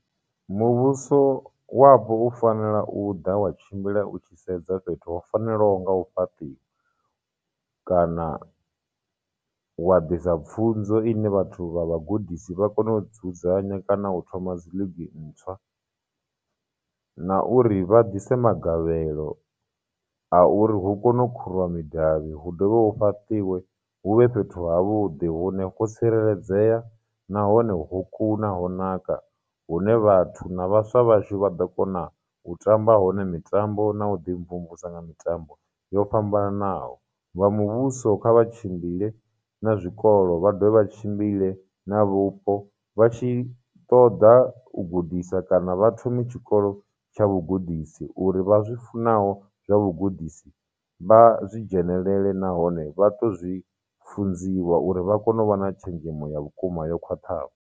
Muvhuso wapo u fanela u ḓa wa tshimbila u tshi sedza fhethu ho fanelaho nga u fhaṱiwa kana wa ḓisa pfhunzo ine vhathu vha vhagudisi vha kone u dzudzanya kana u thoma dzi league ntswa, na uri vha dise magavhelo a uri hu kone u khuriwa midavhi, hu dovhe hu fhatiwe, huvhe fhethu ha vhuḓi hune ho tsireledzea nahone ho kuna, ho naka, hune vhathu na vhaswa vhashu vha ḓo kona u tamba hone mitambo na u ḓi mvumvusa nga mitambo yo fhambananaho. Vha muvhuso kha vha tshimbile na zwikolo vha dovha tshimbile na vhupo vha tshi ṱoḓa u gudisa kana vha thome tshikolo tsha vhugudisi, uri vha zwi funa zwa vhugudisi, vha zwi dzhenelele nahone vha to zwi funziwa uri vha kone u vha na tshenzhemo ya vhukuma yo khwaṱhaho.